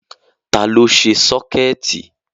Ta ló ṣe sọ́kẹ̀tì?